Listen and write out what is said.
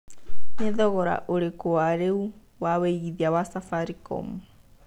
nĩ thogora ũrĩkũ wa rĩũ wa wĩĩgĩthĩa wa safaricom